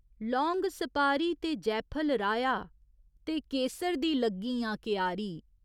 लौंग, सपारी ते जैफल राहेआ ते केसर दी लग्गी आं क्यारी।